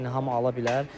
Yəni hamı ala bilər.